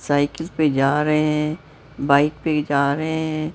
Cycle पे जा रहे हैं बाइक पे जा रहे हैं।